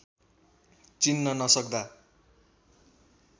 चिन्न नसक्दा